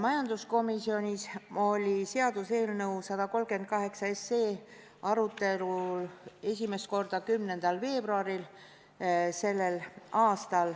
Majanduskomisjonis oli seaduseelnõu 138 arutelu all esimest korda k.a 10. veebruaril.